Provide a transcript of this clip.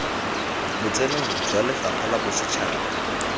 botsenong jwa lefapha la bosetšhaba